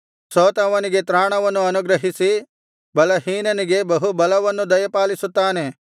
ಸೋತವನಿಗೆ ತ್ರಾಣವನ್ನು ಅನುಗ್ರಹಿಸಿ ಬಲಹೀನನಿಗೆ ಬಹು ಬಲವನ್ನು ದಯಪಾಲಿಸುತ್ತಾನೆ